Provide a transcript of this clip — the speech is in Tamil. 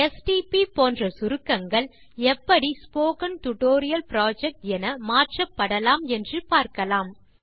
எஸ்டிபி போன்ற சுருக்கங்கள் எப்படி ஸ்போக்கன் டியூட்டோரியல் புரொஜெக்ட் என மாற்றப்படலாம் என்று பார்க்கலாம்